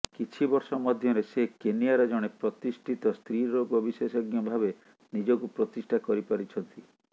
କିଛି ବର୍ଷ ମଧ୍ୟରେ ସେ କେନିଆର ଜଣେ ପ୍ରତିଷ୍ଠିତ ସ୍ତ୍ରୀରୋଗ ବିଶେଷଜ୍ଞ ଭାବେ ନିଜକୁ ପ୍ରତିଷ୍ଠା କରିପାରିଛନ୍ତି